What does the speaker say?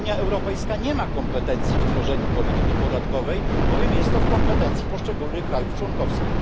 Unia Europejska nie ma kompetencji w tworzeniu polityki podatkowej, bowiem jest to w kompetencji poszczególnych krajów członkowskich.